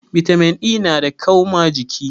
Bitamin E nada kau ma jiki